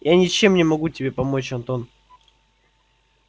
я ничем не могу тебе помочь антон